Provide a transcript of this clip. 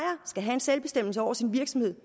skal have selvbestemmelse over sin virksomhed